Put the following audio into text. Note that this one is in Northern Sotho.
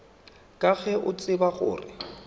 ka ge o tseba gore